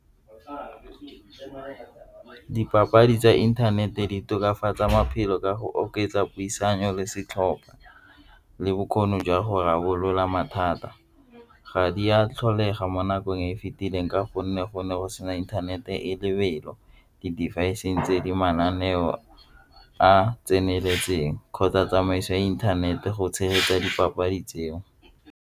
Dipapadi tsa inthanete di tokafatsaa maphelo ka go oketsa puisano le setlhopha le bokgoni jwa go rarabolola mathata. Ga di a tlholega ga mo nakong e e fitileng ka gonne gone go sena inthanete e lebelo di-device-ng tse di mananeo a tseneletseng kgotsa tsamaiso ya inthanete go tshegetsa dipapadi tseo.